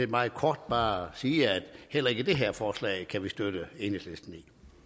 meget kort bare sige at heller ikke det her forslag kan vi støtte enhedslisten i